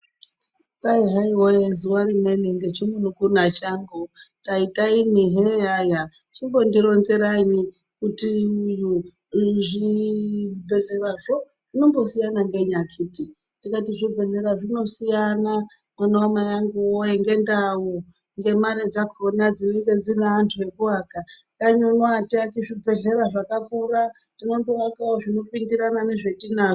Kwai hai voye zuva rimweni ngechimunun'una changu taita imwi heyaya. Chimbondironzerayii kuti uyu zvibhedhlerazvo zvinombosiyana ngenyi akhiti. Ndikati zvibhedhlera zvinosiyana mwana vamai vangu voye ngendau ngemari dzakona dzinenge dzine antu ekuvaka. Dani uno hatiaki zvibhedhlera zvakakura tinondoakavo zvinopindirana nezvetinazvo.